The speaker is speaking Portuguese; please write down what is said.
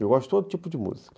Eu gosto de todo tipo de música.